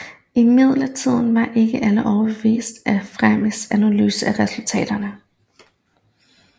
Imidlertid var ikke alle overbeviste af Fermis analyse af resultaterne